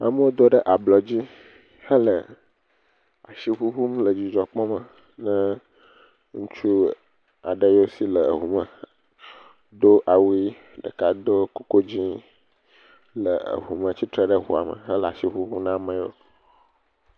Amewo do ɖe ablɔ dzi hele asi ŋuŋum le dzidzɔ kpɔm ɖe ŋutsu aɖewo si le eŋume tsitre ɖe eŋume le asi ŋuŋum na amewo.